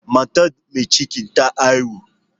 Matar mai ciki ta haihu.